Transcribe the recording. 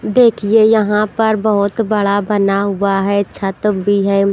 देखिए यहाँ पर बहुत बड़ा बना हुआ है छत भी है।